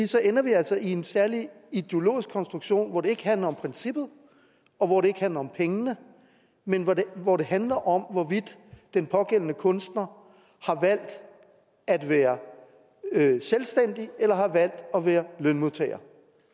så ender vi altså i en særlig ideologisk konstruktion hvor det ikke handler om princippet og hvor det ikke handler om pengene men hvor det hvor det handler om hvorvidt den pågældende kunstner har valgt at være selvstændig eller har valgt at være lønmodtager